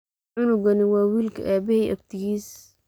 Cunugani wa wilki abahey abtigis.